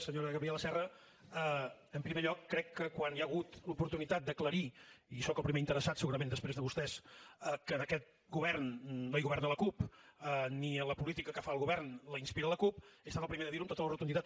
senyora gabriela serra en primer lloc crec que quan hi ha hagut l’oportunitat d’aclarir i soc el primer interessat segurament després de vostès que en aquest govern no hi governa la cup ni la política que fa el govern la inspira la cup he estat el primer de dir ho amb tota la rotunditat